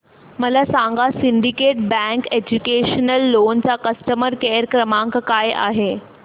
मला सांगा Syndicate Bank educational loan चा कस्टमर केअर क्रमांक काय आहे